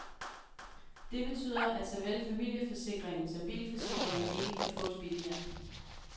Det betyder, at såvel familieforsikringen som bilforsikringen ikke kan fås billigere.